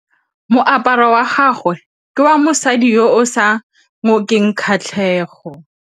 Moaparô wa gagwe ke wa mosadi yo o sa ngôkeng kgatlhegô.